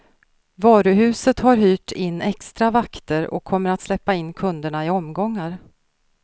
Varuhuset har hyrt in extra vakter och kommer att släppa in kunderna i omgångar.